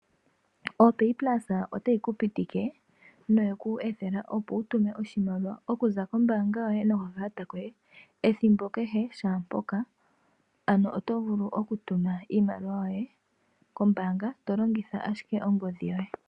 OPaypulse otayi ku pitike noye ku ethela, opo wu tume oshimaliwa okuza kombaanga yoye nokakalata koye ethimbo shaa mpoka, ano oto vulu okutuma iimaliwa yoye kombaanga to longitha ashike ongodhi yoye.